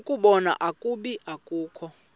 ukubona ukuba akukho